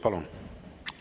Palun!